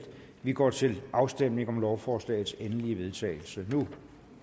vi går til afstemning om lovforslagets endelige vedtagelse nu